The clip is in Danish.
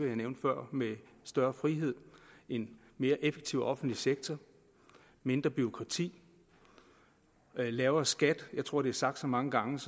jeg nævnte før med større frihed en mere effektiv offentlig sektor mindre bureaukrati og lavere skat jeg tror det er sagt så mange gange